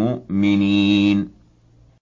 مُّؤْمِنِينَ